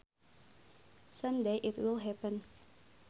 Some day it will happen